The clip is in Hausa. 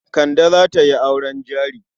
Kande za ta yi auren jari.